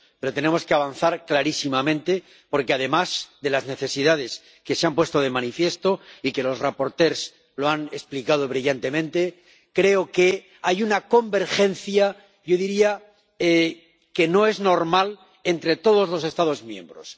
Pero tenemos que avanzar clarísimamente, porque, además de las necesidades que se han puesto de manifiesto, y que los ponentes han explicado brillantemente, creo que hay una convergencia —yo diría que no es normal— entre todos los Estados miembros.